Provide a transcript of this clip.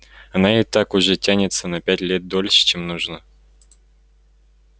она и так уже тянется на пять лет дольше чем нужно